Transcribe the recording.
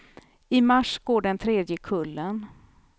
I mars går den tredje kullen.